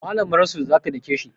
Malamr su za ta dake shi